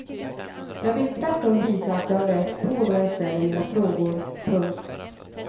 Jag vill tvärtom visa att jag har läst på då jag ställer mina frågor. punkt